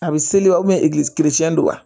A bɛ seli don wa